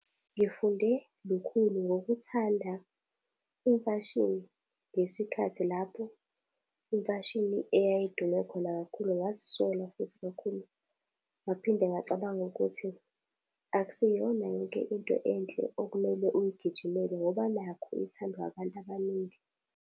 Ngifunde lukhulu ngokuthanda imfashini ngesikhathi lapho imfashini eyayidume khona kakhulu ngazisola futhi kakhulu. Ngaphinde ngacabanga ukuthi, akusiyona yonke into enhle okumele uyigijimele ngoba nakhu ithandwa abantu abaningi.